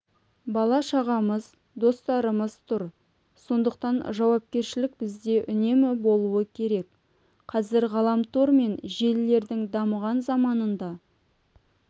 бала-шағамыз достарымыз тұр сондықтан жауапкершілік бізде үнемі болуы керек қазір ғаламтор мен желілердің дамыған заманында